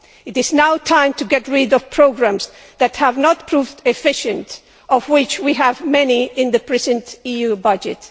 It is now time to get rid of programmes that have not proved efficient, of which we have many in the present EU budget.